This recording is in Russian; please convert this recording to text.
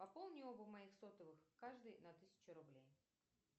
пополни оба моих сотовых каждый на тысячу рублей